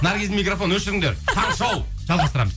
наргиздің микрофонын өшіріңдер таңғы шоу жалғастырамыз